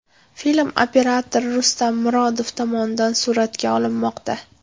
Film operator Rustam Murodov tomonidan suratga olinmoqda.